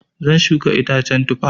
Zan shuka icen Tufa.